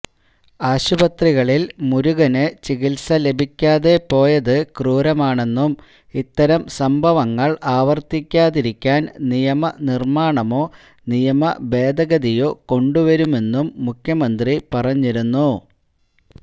ആശുപത്രികളില് മുരുകന് ചികിത്സ ലഭിക്കാതെ പോയത് ക്രൂരമാണെന്നും ഇത്തരം സംഭവങ്ങള് ആവര്ത്തിക്കാതിരിക്കാന് നിയമനിര്മാണമോ നിയമ ഭേദഗതിയോ കൊണ്ടുവരുമെന്നും മുഖ്യമന്ത്രി പറഞ്ഞിരുന്നു